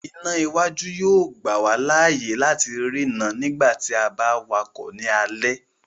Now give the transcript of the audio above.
Iná iwájú yóò gbà wá láàyè láti ri no nígbàtí a ba wakọ ni alẹ